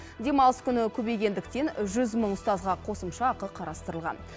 демалыс күні көбейгендіктен жүз мың ұстазға қосымша ақы қарастырылған